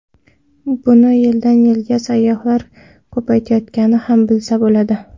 Buni yildan-yilga sayyohlar ko‘payayotganidan ham bilsa bo‘ladi.